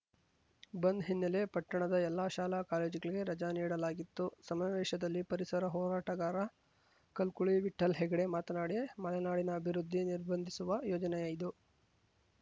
ಬಂದ್‌ ಹಿನ್ನೆಲೆ ಪಟ್ಟಣದ ಎಲ್ಲ ಶಾಲಾಕಾಲೇಜುಗಳಿಗೆ ರಜ ನೀಡಲಾಗಿತ್ತು ಸಮಾವೇಶದಲ್ಲಿ ಪರಿಸರ ಹೋರಾಟಗಾರ ಕಲ್ಕುಳಿ ವಿಠ್ಠಲ್‌ಹೆಗ್ಡೆ ಮಾತನಾಡಿ ಮಲೆನಾಡಿನ ಅಭಿವೃದ್ಧಿ ನಿರ್ಬಂಧಿಸುವ ಯೋಜನೆಯಿದು